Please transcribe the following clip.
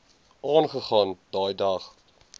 aangegaan daai dag